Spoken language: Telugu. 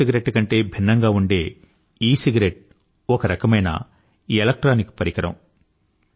మామూలు సిగరెట్టు కంటే భిన్నంగా ఉండే ఈసిగరెట్టు ఒక రకమైన ఎలక్ట్రానిక్ పరికరం